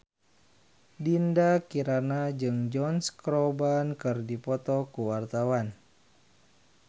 Dinda Kirana jeung Josh Groban keur dipoto ku wartawan